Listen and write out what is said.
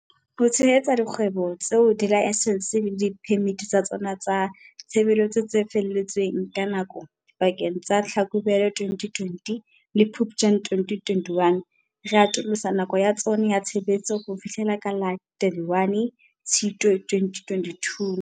Ho tshehetsa dikgwebo tseo dilaesense le diphemiti tsa tsona tsa tshebetso tse fele tsweng ke nako dipakeng tsa Tlhakubele 2020 le Phuptjane 2021, re atolosa nako ya tsona ya tshebetso ho fihlela ka la 31 Tshitwe 2022.